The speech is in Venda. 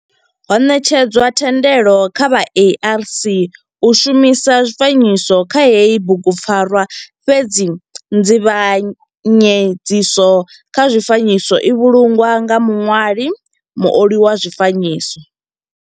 Ho netshedzwa thendelo kha vha ARC u shumisa zwifanyiso kha heyi bugupfarwa fhedzi nzivhanyedziso kha zwifanyiso i vhulungwa nga muṋwali muoli wa zwifanyiso.